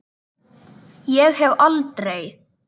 Ég hef aldrei.